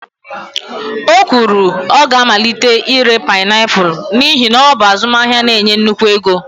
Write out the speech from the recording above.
o kwuru, ọ ga-amalite ire painiapulu n'ihi na ọ bụ azụmahịa na-enye nnukwu ego